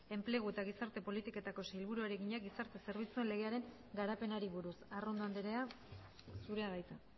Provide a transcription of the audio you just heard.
enplegu eta gizarte politiketako sailburuari egina gizarte zerbitzuen legearen garapenari buruz arrondo andrea zurea da hitza